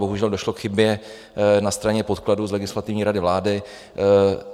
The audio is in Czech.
Bohužel došlo k chybě na straně podkladů z Legislativní rady vlády.